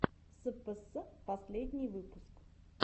спс последний выпуск